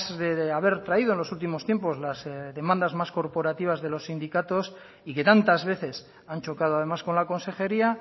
de haber traído en los últimos tiempos las demandas más corporativas de los sindicatos y que tantas veces han chocado además con la consejería